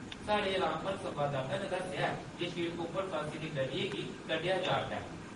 साढ़े रामबन संवाददाता ने दस्सेया ऐ जे शिड़क उप्पर फसी दी गड्डियें गी कड्डेया जा`रदा ऐ ।